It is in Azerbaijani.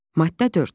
Maddə 4.